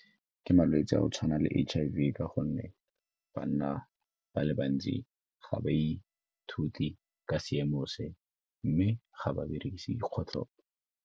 Ke malwetse a go tshwana le H_I_V ka gonne banna ba le bantsi ga ba ithute ka seemo se mme ga ba berekise dikgotlhopo.